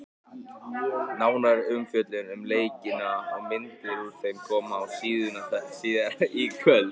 Nánari umfjöllun um leikina og myndir úr þeim koma á síðuna síðar í kvöld.